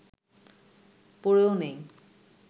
পড়েও নেই